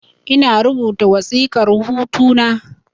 Ina rubuta wasiƙar hutu na